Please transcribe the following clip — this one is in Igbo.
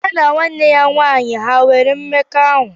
Ya na nwanne nwaanyị a ha nwere mmekọahụ?